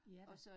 Ja da